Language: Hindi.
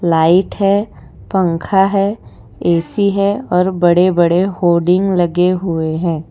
लाइट है पंखा है ऐ_सी है और बड़े बड़े होर्डिंग लगे हुए हैं।